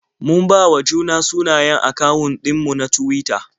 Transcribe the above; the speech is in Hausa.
Mun bawa juna sunayen akawun ɗin mu na Tuwita.